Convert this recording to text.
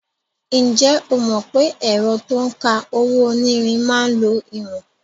Ǹjẹ́ o mọ̀ pé ẹ̀rọ to ń ka owó-onírin máa ń lo ìwọ̀n?